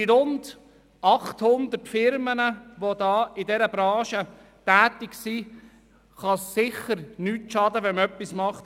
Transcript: Den rund 800 Unternehmen, die in dieser Branche tätig sind, kann es sicher nicht schaden, wenn man etwas tut.